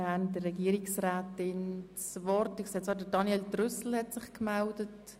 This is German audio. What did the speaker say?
Ich möchte gerne noch heute über das Eintreten abstimmen.